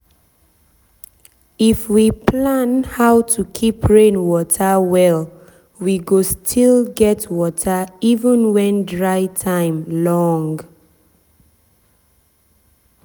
if we plan how to keep rain water well we go still get water even when dry time long.